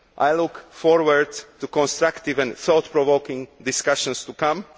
I look forward to the constructive and thought provoking discussions to come.